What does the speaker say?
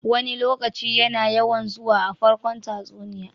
"Wani lokaci" yana yawan zuwa a farkon tatsuniya.